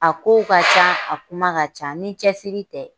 A kow ka ca, a kuma ka ca ni cɛsiri tɛ.